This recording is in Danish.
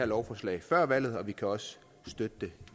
lovforslaget før valget og vi kan også støtte det